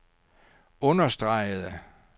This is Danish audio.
understregede